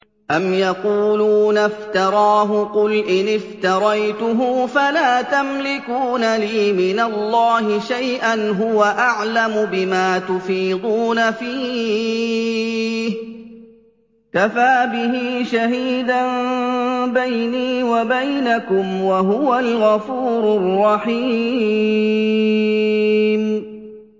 أَمْ يَقُولُونَ افْتَرَاهُ ۖ قُلْ إِنِ افْتَرَيْتُهُ فَلَا تَمْلِكُونَ لِي مِنَ اللَّهِ شَيْئًا ۖ هُوَ أَعْلَمُ بِمَا تُفِيضُونَ فِيهِ ۖ كَفَىٰ بِهِ شَهِيدًا بَيْنِي وَبَيْنَكُمْ ۖ وَهُوَ الْغَفُورُ الرَّحِيمُ